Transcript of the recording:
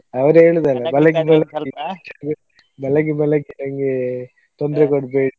ಅವರು ಹೇಳುದಲ್ಲಾ ಬೆಳಿಗ್ಗೆ ಬೆಳಿಗ್ಗೆ ಬೆಳಿಗ್ಗೆ ಬೆಳಿಗ್ಗೆ ನಂಗೆ ತೊಂದ್ರೆ ಕೊಡ್ಬೇಡಿ.